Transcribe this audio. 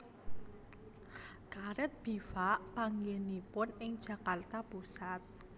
Karet Bivak panggènanipun ing Jakarta Pusat